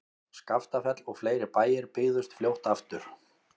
Skaftafell og fleiri bæir byggðust fljótt aftur.